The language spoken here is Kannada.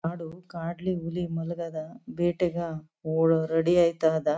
ಕಾಡು ಕಾಡಲ್ಲಿ ಹುಲಿ ಮಳ್ಗೆಧಾ ಬೆಟ್ಟಗ ರೆಡಿ ಆಯ್ತಧ.